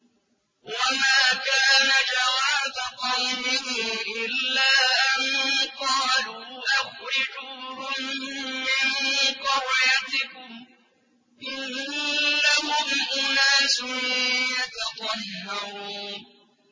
وَمَا كَانَ جَوَابَ قَوْمِهِ إِلَّا أَن قَالُوا أَخْرِجُوهُم مِّن قَرْيَتِكُمْ ۖ إِنَّهُمْ أُنَاسٌ يَتَطَهَّرُونَ